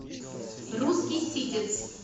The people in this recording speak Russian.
русский ситец